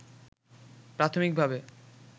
প্রাথমিক ভাবে